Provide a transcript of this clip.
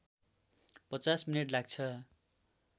५० minute लाग्छ